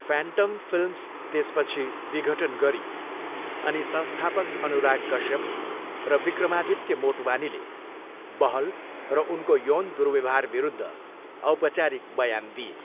Phantom Films त्यसपछि विघटन गरियो अनि संस्थापक अनुराग कश्यप र विक्रमादित्य मोटवानीले बहल र उनको यौन दुर्व्यवहारविरुद्ध औपचारिक बयान दिए।